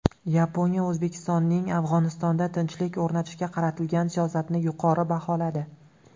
Yaponiya O‘zbekistonning Afg‘onistonda tinchlik o‘rnatishga qaratilgan siyosatini yuqori baholadi.